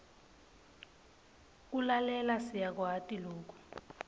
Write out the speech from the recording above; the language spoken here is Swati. kulalela siyakwati loku